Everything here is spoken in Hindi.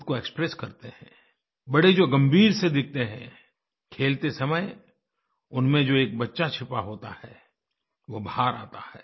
ख़ुद को एक्सप्रेस करते हैं बड़े जो गंभीर से दिखते हैं खेलते समय उनमें जो एक बच्चा छिपा होता है वो बाहर आता है